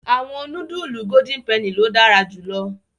Awọn nudulu Golden Penny lo dara julọ